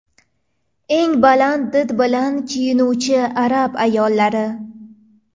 Eng baland did bilan kiyinuvchi arab ayollari .